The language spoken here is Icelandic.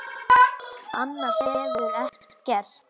Annars hefur ekkert gerst